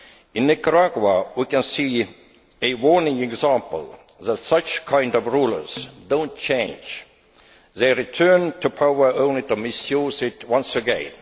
In Nicaragua, we can see a warning example that such kinds of rulers do not change. They return to power only to misuse it once again.